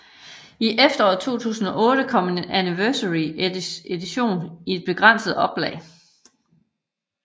I efteråret 2008 kom en anniversary edition i et begrænset oplag